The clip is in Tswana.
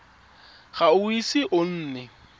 ga o ise o nne